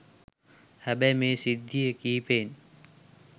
හැබැයි මේ සිද්ධි කිපයෙන්